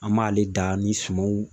An b'ale dan ni sumanw